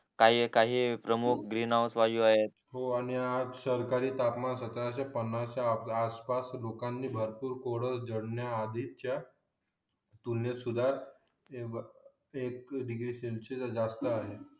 हो आणि आज तापमान सतराशे पन्नास आसपास लोकांनी भरपूर कोड झडण्या आधीच्या तुलनेत सुध्दा एक डिग्री सेनची जास्त आहे